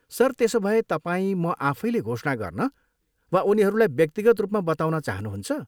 Sir, त्यसोभए तपाईँ म आफैले घोषणा गर्न वा उनीहरूलाई व्यक्तिगत रूपमा बताउन चहानुहुन्छ?